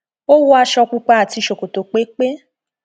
ó wọ aṣọ pupa àti ṣòkòtò pépé